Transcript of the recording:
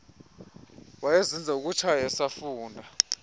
wayezenza zokutshaya esafunda